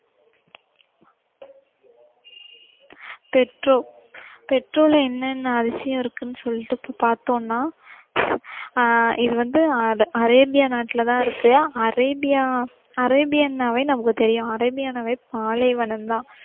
Petra, பெட்ரால என்ன என்ன அதிசயம் இருக்குன்னு சொல்லிட்டு பாத்தோம்னா ஆஹ் இது வந்து அந்த அரேபிய நாட்டுல தான் இருக்கு. அரேபியா அரேபியன்னாவே நமக்கு தெரியும். அரேபியனாவே பாலைவனம் தான்.